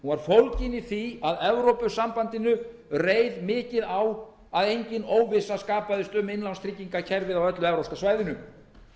var fólgin í því að evrópusambandinu reið mikið á að engin óvissa skapaðist um innlánstryggingarkerfið á öllu evrópska svæðinu